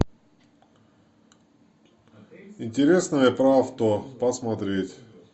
интересное про авто посмотреть